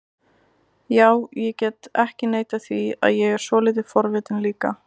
Já, ég get ekki neitað því að ég er svolítið forvitinn líka